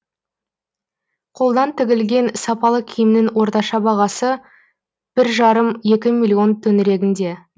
қолдан тігілген сапалы киімнің орташа бағасы бір жарым екі миллион төңірегінде